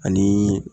Ani